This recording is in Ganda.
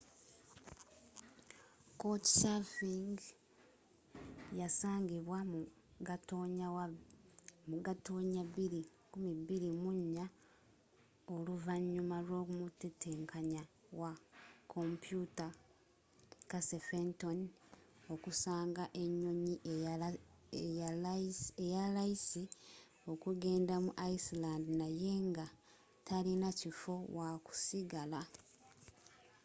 couchsurfing yasangibwa mu gatonnya 2004 oluvanyuma lw'omutetenkanya wa komputa casey fenton okusanga enyonyi eyalayisi ookugenda mu iceland naye nga talina kifo wakusigala